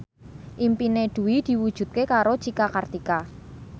impine Dwi diwujudke karo Cika Kartika